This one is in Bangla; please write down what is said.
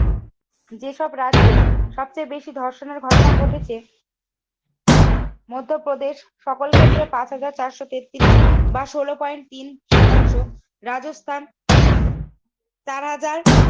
যেসব রাজ্যের সবচেয়ে বেশি ধর্ষণের ঘটনা ঘটেছে মধ্যপ্রদেশ সকল ক্ষেত্রে পাঁচ হাজার চারশো তেত্রিশ বা ষোলো পয়েন্ট তিন শতাংশ রাজস্থান চার হাজার